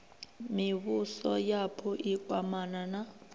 mivhuso yapo i kwamana na